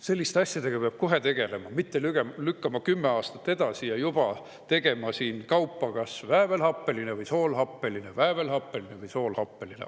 Selliste asjadega peab kohe tegelema, mitte lükkama neid kümme aastat edasi ja juba tegema siin kaupa, et kas väävelhappeline või soolhappeline, väävelhappeline või soolhappeline.